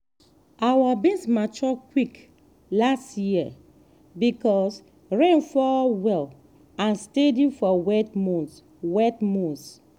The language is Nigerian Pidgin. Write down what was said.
our beans mature quick last year because rain fall well and steady for wet months. wet months.